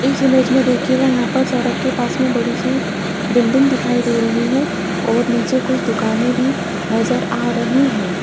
इस इमेज में देखिएगा यहां पर सड़क के पास में बड़ी सी बिल्डिंग दिखाई दे रही है और नीचे कुछ दुकानें भी नजर आ रही हैं।